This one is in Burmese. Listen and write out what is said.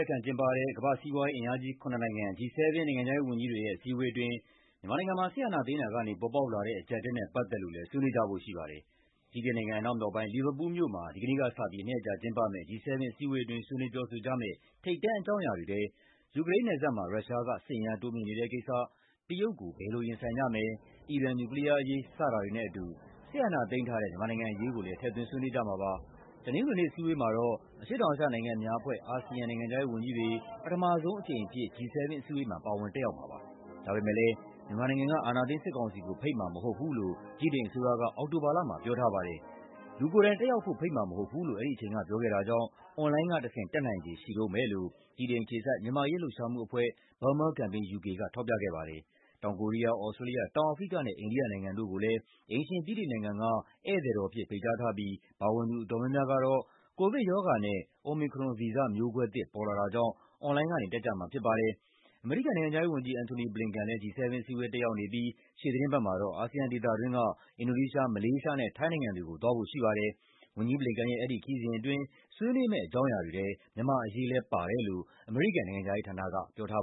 က်ခံကျင်းပတဲ့ ကမ္ဘာ့စီးပွားရေးအင်အားကြီး ၇ နိုင်ငံ (G7) နိုင်ငံခြားရေး ဝန်ကြီးတွေရဲ့ အစည်းအဝေးအတွင်း မြန်မာနိုင်ငံမှာ စစ်အာဏာသိမ်းတာကနေ ပေါ်ပေါက်လာတဲ့ အကျပ်အတည်းနဲ့ ပတ်သက်လို့လည်း ဆွေးနွေးကြဖို့ ရှိပါတယ်။ ဗြိတိန်နိုင်ငံ အနောက်မြောက်ပိုင်း၊ လီဗာပူးလ်မြို့မှာ ဒီကနေ့ကစပြီး နှစ်ရက်ကြာကျင်းပမယ့် G7 အစည်းအဝေးအတွင်း ဆွေးနွေးပြောဆိုကြမယ့် ထိပ်တန်းအကြောင်းအရာတွေထဲ ယူကရိန်းနယ်စပ်မှာ ရုရှားက စစ်အင်အား တိုးမြှင့်နေတဲ့ကိစ္စ၊ တရုတ်ကို ဘယ်လိုရင်ဆိုင်ကြမယ်၊ အီရန် နျူကလီးယားအရေး စတာတွေနဲ့အတူ စစ်အာဏာသိမ်းထားတဲ့ မြန်မာနိုင်ငံ အရေးကိုလည်း ထည့်သွင်းဆွေးနွေးကြမှာပါ။ တနင်္ဂနွေနေ့ အစည်းအဝေးမှာတော့ အရှေ့တောင်အာရှနိုင်ငံများအဖွဲ့ (ASEAN) နိုင်ငံခြားရေးဝန်ကြီးတွေ ပထမဆုံးအကြိမ်အဖြစ် ပါဝင်တက်ရောက်ကြမှာပါ။ ဒါပေမယ့်လည်း မြန်မာနိုင်ငံက အာဏာသိမ်းစစ်ကောင်စီကို ဖိတ်မှာမဟုတ်ဘူးလို့ ဗြိတိန်အစိုးရက အောက်တိုဘာလမှာ ပြောထားပါတယ်။ ဒါပေမယ့်လည်း လူကိုယ်တိုင်တက်ရောက်ဖို့ ဖိတ်မှာမဟုတ်ဘူးလို့ အဲဒီအချိန်က ပြောခဲ့တာကြောင့် အွန်လိုင်းကတဆင့် တက်နိုင်ခြေရှိတုန်းပဲလို့ ဗြိတိန်အခြေစိုက် မြန်မာ့အရေး လှုပ်ရှားမှုအဖွဲ့ Burma Campaign UK က ထောက်ပြခဲ့ပါတယ်။ တောင်ကိုရီးယား၊ သြစတြေးလျ၊ တောင်အာဖရိကနဲ့ အိန္ဒိယနိုင်ငံတို့ကိုလည်း အိမ်ရှင် ဗြိတိန်နိုင်ငံက "ဧည့်သည်တော်" အဖြစ် ဖိတ်ကြားထားပြီး ပါဝင်သူ အတော်များများကတော့ ကိုဗစ်ကပ်ရောဂါနဲ့ Omicron ဗီဇမျိုးကွဲသစ် ပေါ်လာတာကြောင့် အွန်လိုင်းကနေ တက်ကြမှာဖြစ်ပါတယ်။ အမေရိကန် နိုင်ငံခြားရေးဝန်ကြီး Antony Blinken လည်း G7 အစည်းအဝေး တက်ရောက်နေပြီး ရှေ့သီတင်းပတ်မှာတော့ အာဆီယံဒေသတွင်းက အင်ဒိုနီးရှား၊ မလေးရှားနဲ့ ထိုင်းနိုင်ငံတွေကို သွားဖို့ရှိပါတယ်။ ဝန်ကြီး Blinken ရဲ့ အဲဒီခရီးစဉ်အတွင်း ဆွေးနွေးမယ့် အကြောင်းအရာတွေထဲ မြန်မာ့အရေးလည်း ပါတယ်လို့ နိုင်ငံခြားရေးဌာနက ပြောထား